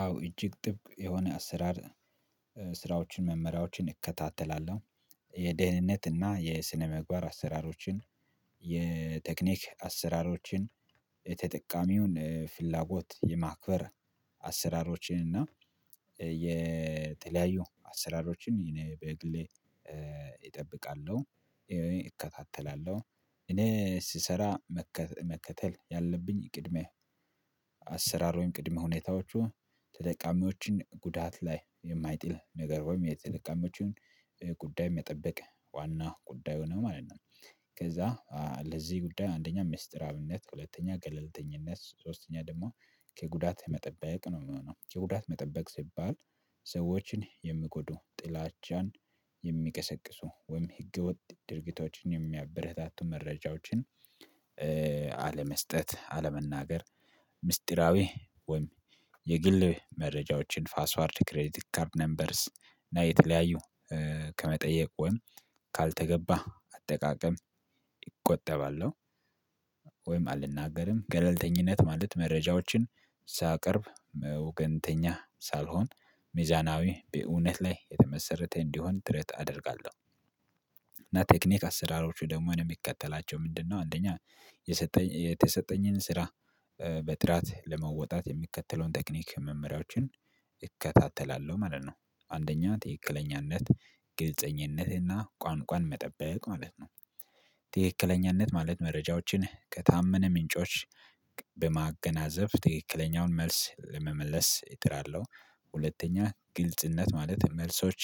አዎ እጅግ ጥብቅ የሆነ አሰራር ስራዎችን መመሪያዎችን እከታተላለሁ የደህንነት እና የስነ ምግባር አሰራሮችን የቴክኒክ አሰራሮችን የተጠቃሚውን ፍላጎት የማክበር አሰራሮችን እና የተለያዩ አሰራሮችን እኔ በግሌ እጠብቃለሁ እከታተላለሁ እኔ ስሰራ መከተል ያለብኝ ቅድመ አሰራር ወይም ቅድመ ሁኔታዎቹ ተጠቃሚዎችን ጉዳት ላይ የማይጥል ነገር ወይም የተጠቃሚዎቹን ጉዳይ መጠበቅ ዋናው ጉዳዩ ነው ማለት ነው። ከዛ ለዚህ ጉዳይ አንደኛ ሚስጥራዊነት ሁለተኛ ገለልተኝነት ሶስተኛ ደግሞ ከጉዳት መጠበቅ ነው ምሆነው ከጉዳት መጠበቅ ሲባል ሰዎችን የምጎዱ ጥላቻን የሚቀሰቅሱ ወይም ህገወጥ ድርጊቶችን የሚያበረታቱ መረጃዎችን። አለመስጠት አለመናገር ምስጢራዊ ወይም የግል መረጃዎችን ፓስዋርድ ክሬቲክ ካርድ ነበርስ እና የተለያዩ ከመጠየቅ ወይም ካልተገባ አጠቃቀም እቆጠባለሁ። ወይም አልናገርም ገለልተኝነት ማለት መረጃዎችን ሳቀርብ ወገንተኛ ሳልሆን ሚዛናዊ በእውነት ላይ የተመሰረተ እንዲሆን ጥረት አደርጋለሁ። እና ቴክኒክ አሰራሮቹ ደግሞ ነው የሚከተላቸው ምንድነው? አንደኛ የተሰጠኝን ስራ በጥራት ለመወጣት የሚከተለውን ቴክኒክ መመሪያዎችን እከታተላለሁ ማለት ነው። አንደኛ ትክክለኛነት ግልጽኝነትና ቋንቋን መጠበቅ ማለት ነው። ትክክለኛነት ማለት መረጃዎችን ከታመነ ምንጮች በማገናዘብ ትክክለኛውን መልስ ለመመለስ እጥራለሁ። ሁለተኛ ግልጽነት ማለት መልሶች